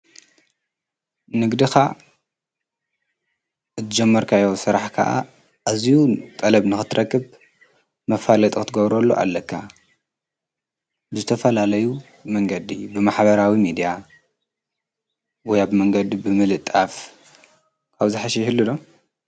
ንግድኻ ዝጀመርካዮ ሥራሕ ከዓ ኣዝዩ ጠለብ ንኽትረክብ መፋለጢ ክትገብሩሉ ኣለካ። ብዝተፈላለዩ መንገዲ ብማኅበራዊ ሚድያ ወይ ኣብ መንገድ ብምልጣፍ ካብኡ ዝሓሸ ይህሉ ዶ?